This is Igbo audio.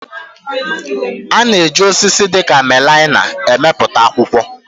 A na-eji osisi dịka melaịna emepụta akwụkwọ